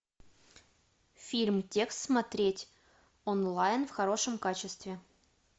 фильм текст смотреть онлайн в хорошем качестве